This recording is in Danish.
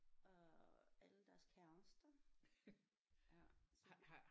Og alle deres kærester ja så